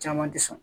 Caman tɛ sɔn